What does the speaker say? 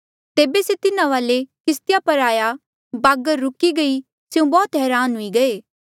तेबे से तिन्हा वाले किस्तिया पर आया बागर रुकी गई स्यों बौह्त हरान हुई गये